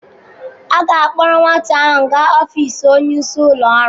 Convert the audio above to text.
A ga-akpọrọ nwata ahụ gaa ọfiisi onyeisi ụlọ ọrụ.